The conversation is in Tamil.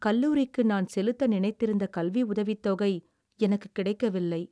கல்லூரிக்கு நான் செலுத்த நினைத்திருந்த கல்வி உதவித்தொகை எனக்குக் கிடைக்கவில்லை.